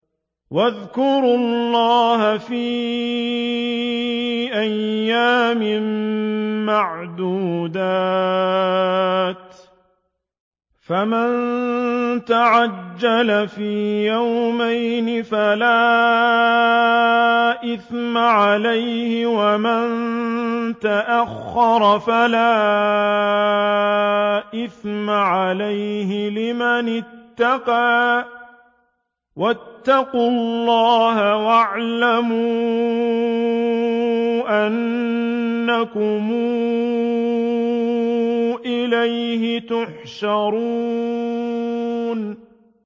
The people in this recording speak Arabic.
۞ وَاذْكُرُوا اللَّهَ فِي أَيَّامٍ مَّعْدُودَاتٍ ۚ فَمَن تَعَجَّلَ فِي يَوْمَيْنِ فَلَا إِثْمَ عَلَيْهِ وَمَن تَأَخَّرَ فَلَا إِثْمَ عَلَيْهِ ۚ لِمَنِ اتَّقَىٰ ۗ وَاتَّقُوا اللَّهَ وَاعْلَمُوا أَنَّكُمْ إِلَيْهِ تُحْشَرُونَ